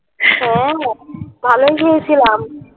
হ্যা ভালোই খেয়েছিলাম